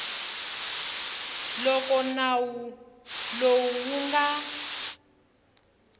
loko nawu lowu wu nga